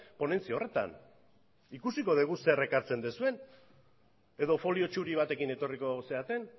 ponentzia horretan ikusiko dugu zer ekartzen duzuen edo folio zuri batekin etorriko zareten